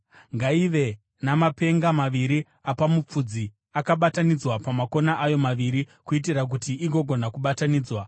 Ngaive namapenga maviri apamapfudzi akabatanidzwa pamakona ayo maviri, kuitira kuti igogona kubatanidzwa.